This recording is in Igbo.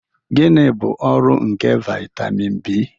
Gịnị bụ ọrụ nke vitamin B?